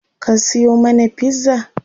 Ka siyo mana pizza?